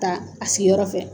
Ta a sigiyɔrɔ fɛ.